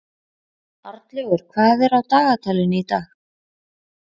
Arnlaugur, hvað er á dagatalinu í dag?